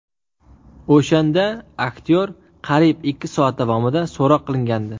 O‘shanda aktyor qariyb ikki soat davomida so‘roq qilingandi.